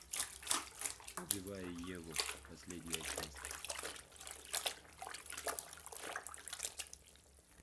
убивая еву последняя часть